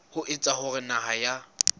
ho etsa hore naha ya